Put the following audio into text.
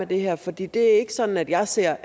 det her for det er ikke sådan jeg ser